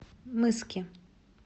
мыски